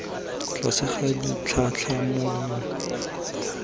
tlase ga ditlhatlhamano dife tse